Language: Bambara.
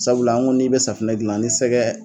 Sabula an ko n'i be safinɛ gilan ni sɛgɛ